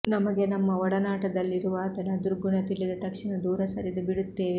ನಮಗೆ ನಮ್ಮ ಒಡನಾಟದಲ್ಲಿರುವಾತನ ದುರ್ಗುಣ ತಿಳಿದ ತಕ್ಷಣ ದೂರ ಸರಿದು ಬಿಡುತ್ತೇವೆ